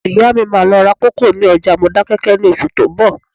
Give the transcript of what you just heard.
Ìyá mi máa lọ ra kòkó ní ọjà Modákẹ́kẹ́ ní oṣù tó ń bọ̀